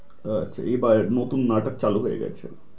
আচ্ছা এবার নতুন নাটক চালু হয়ে গেছে।